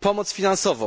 pomoc finansową.